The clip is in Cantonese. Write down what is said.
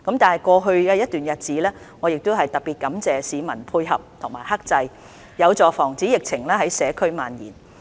在過去一段日子，我感謝市民的配合及克制，這有助防止疫情在社區蔓延。